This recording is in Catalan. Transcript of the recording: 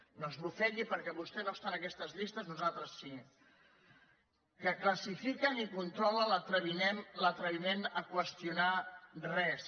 no esbufegui perquè vostè no està en aquestes llistes nosaltres sí que classifiquen i controlen l’atreviment a qüestionar res